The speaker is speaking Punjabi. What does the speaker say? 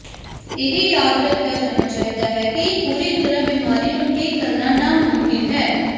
ਇਹ ਯਾਦ ਰੱਖਿਆ ਜਾਣਾ ਚਾਹੀਦਾ ਹੈ ਕਿ ਪੂਰੀ ਤਰ੍ਹਾਂ ਬਿਮਾਰੀ ਨੂੰ ਠੀਕ ਕਰਨਾ ਨਾਮੁਮਕਿਨ ਹੈ